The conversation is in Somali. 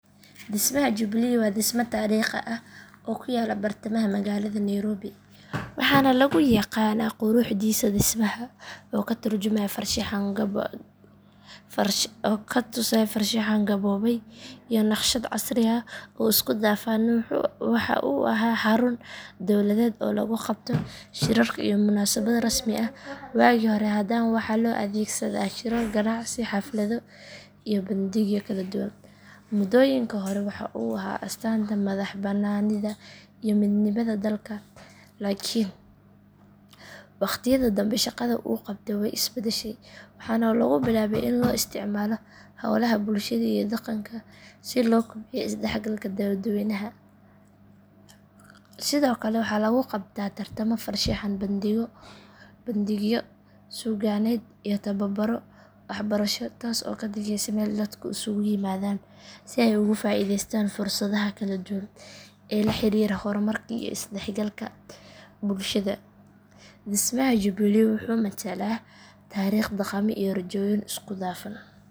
Dhismaha jubilee waa dhisme taariikhi ah oo ku yaalla bartamaha magaalada nairobi waxaana lagu yaqaan quruxdiisa dhismaha oo ka turjumaya farshaxan gaboobay iyo naqshad casri ah oo isku dhafan waxa uu ahaa xarun dowladeed oo lagu qabto shirarka iyo munaasabado rasmi ah waagii hore haddana waxaa loo adeegsadaa shirar ganacsi xaflado iyo bandhigyo kala duwan muddooyinkii hore waxaa uu ahaa astaanta madaxbannaanida iyo midnimada dalka laakiin waqtiyada dambe shaqada uu qabto way is beddeshay waxaana lagu bilaabay in loo isticmaalo howlaha bulshada iyo dhaqanka si loo kobciyo isdhexgalka dadweynaha sidoo kale waxaa lagu qabtaa tartamo farshaxan bandhigyo suugaaneed iyo tababaro waxbarasho taas oo ka dhigaysa meel dadku isugu yimaadaan si ay uga faa’iideystaan fursadaha kala duwan ee la xiriira horumarka iyo isdhexgalka bulshada dhismaha jubilee wuxuu matalaa taariikh dhaqamo iyo rajooyin isku dhafan.